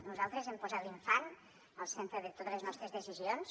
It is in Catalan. nosaltres hem posat l’infant al centre de totes les nostres decisions